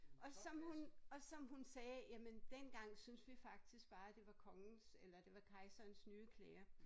Og som og som hun sagde jamen dengang synes vi faktisk bare det var kongens eller det var kejserens nye klæder